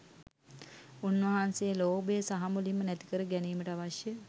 උන්වහන්සේ ලෝභය සහමුලින්ම නැතිකර ගැනීමට අවශ්‍ය